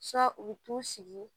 u bɛ t'u sigi